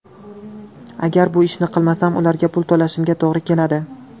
Agar bu ishni qilmasam, ularga pul to‘lashimga to‘g‘ri keladi.